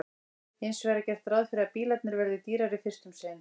hins vegar er gert ráð fyrir að bílarnir verði dýrari fyrst um sinn